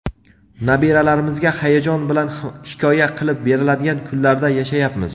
Nabiralarimizga hayajon bilan hikoya qilib beriladigan kunlarda yashayapmiz.